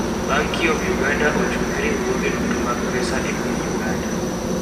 Banki of Uganda ochung' ne riwruoge duto mag pesa e piny Uganda.